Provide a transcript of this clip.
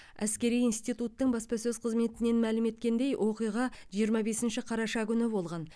әскери интитуттың баспасөз қызметінен мәлім еткендей оқиға жиырма бесінші қараша күні болған